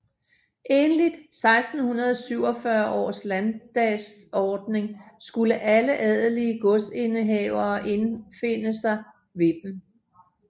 Enligt 1647 års landtdagsordning skulle alle adelige godsindehavere indfinde sig ved dem